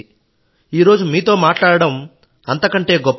ఈరోజు మీతో మాట్లాడడం అంతకంటే గొప్ప విషయం